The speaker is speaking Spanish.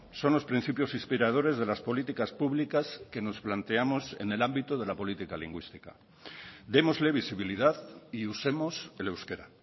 son los principios inspiradores de las políticas públicas que nos planteamos en el ámbito de la política lingüística démosle visibilidad y usemos el euskera